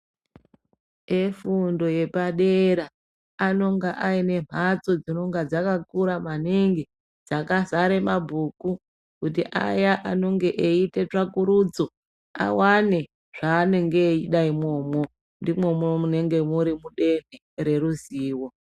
Efundo yepadera anonga aine mhatso dzinonga dzakakura maningi dzakazara ngemabhuku kuti aya anonga eiita tsvakurudzo awane zvaanenge eida imwomwo. Ndimwomwo munenge muridenhe reruzivo.